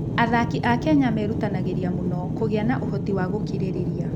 Athaki a Kenya merutanagĩria mũno kũgĩa na ũhoti wa gũkirĩrĩria.